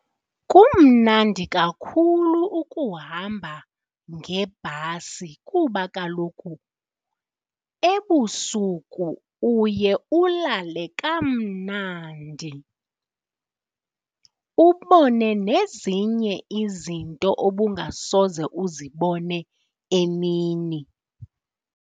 Kumnandi kakhulu ukuhamba ngebhasi kuba kaloku ebusuku uye ulale kamnandi, ubone nezinye izinto obungasoze uzibone emini.